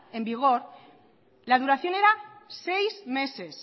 en vigor la duración era seis meses